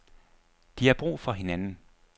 De har brug for hinanden.